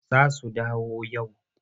Za su dawo yau.